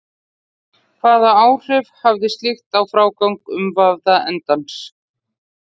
Hvaða áhrif hafði slíkt á frágang umvafða endans?